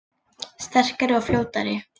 Sterkari og fljótari